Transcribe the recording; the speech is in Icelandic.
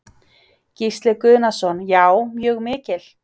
Gísli Guðnason: Já, mjög mikil?